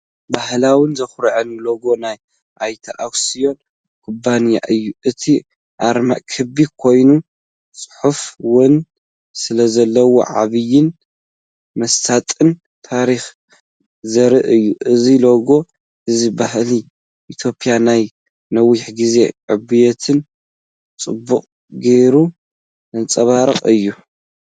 ባህላውን ዘኹርዕን ሎጎ ናይ ኣያተ ኣክስዮን ኩባንያ እዩ! እቲ ኣርማ ክቢ ኮይኑ፡ ጽሑፍ'ውን ስለዘለዎ፡ ዓቢይን መሳጥን ታሪኽ ዘርኢ እዩ። እዚ ሎጎ እዚ ባህሊ ኢትዮጵያን ናይ ነዊሕ ግዜ ዕብየትን ብጽቡቕ ጌይሩ ዘንጸባርቕ እዩ።